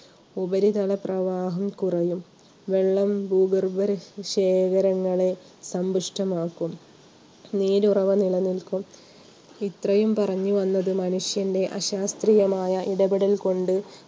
ഉപരിതല പ്രവാഹം കുറഞ്ഞു. വെള്ളം ഭൂഗർഭ ശേഖരങ്ങളെ സന്തുഷ്ടമാക്കും. നീരുറവ നിലനിൽക്കും. ഇത്രയും പറഞ്ഞുവന്നത് മനുഷ്യന്റെ അശാസ്ത്രീയമായ ഇടപെടലുകൾ കൊണ്ട്